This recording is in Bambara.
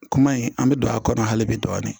Kuma in an bɛ don a kɔnɔ hali bi dɔɔni